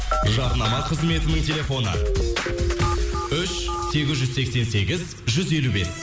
жарнама қызметінің телефоны үш сегіз жүз сексен сегіз жүз елу бес